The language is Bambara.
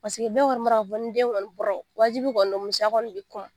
bɛɛ kɔni b'a k'a fɔ ko ni den kɔni wajibi kɔni don musoya kɔni bɛ